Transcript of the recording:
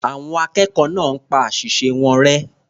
Àwọn akẹ́kọ̀ọ́ náà pa àṣìṣe wọn rẹ́.